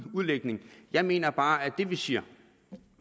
udlægning jeg mener bare at det vi siger